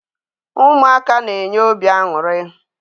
Ụmụaka na-enye obi aṅụrị.